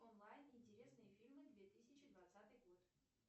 онлайн интересные фильмы две тысячи двадцатый год